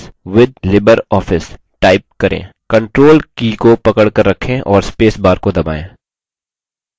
control की को पकड़कर रखें और space bar को दबायें